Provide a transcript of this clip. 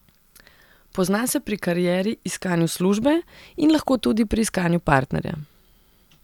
Pozna se pri karieri, iskanju službe, in lahko tudi pri iskanju partnerja.